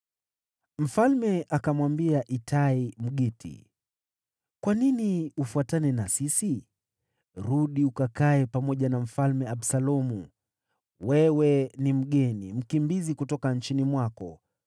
Mfalme akamwambia Itai, Mgiti, “Kwa nini ufuatane na sisi? Rudi ukakae pamoja na Mfalme Absalomu. Wewe ni mgeni, mkimbizi kutoka nchini mwako.